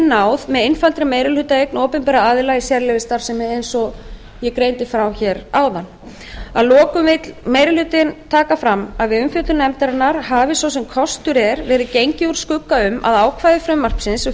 náð með einfaldri meirihlutaeign opinberra aðila í sérleyfisstarfsemi eins og ég greindi frá hér áðan að lokum vill meiri hlutinn taka fram að við umfjöllun nefndarinnar hafi svo sem kostur er verið gengið úr skugga um að ákvæði frumvarpsins um